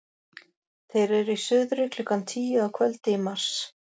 Þeir eru í suðri klukkan tíu að kvöldi í mars.